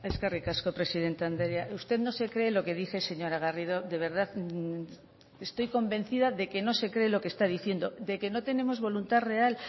eskerrik asko presidente andrea usted no se cree lo que dice señora garrido de verdad estoy convencida de que no se cree lo que está diciendo de que no tenemos voluntad real